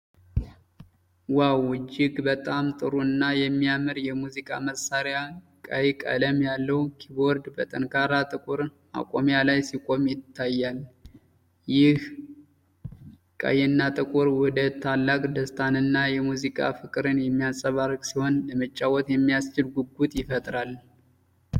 ዋው! እጅግ በጣም ጥሩ እና የሚያምር የሙዚቃ መሳሪያ! ቀይ ቀለም ያለው ኪቦርድ በጠንካራ ጥቁር ማቆሚያ ላይ ሲቆም ይታያል። ይህ ቀይና ጥቁር ውህደት ታላቅ ደስታንና የሙዚቃ ፍቅርን የሚያንጸባርቅ ሲሆን፣ ለመጫወት የሚያስችል ጉጉት ይፈጥራል።